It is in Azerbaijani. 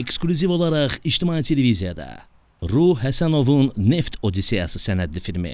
Eksklüziv olaraq İctimai Televiziyada Ruh Həsənovun Neft Odissiyası sənədli filmi.